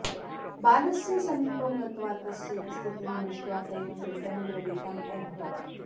बालस्य समीपं गत्वा तस्य स्थितिं दृष्ट्वा तयोः हृदयं द्रवितम् अभवत्